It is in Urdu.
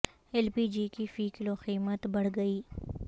ایل پی جی کی فی کلو قیمت بڑھ گئی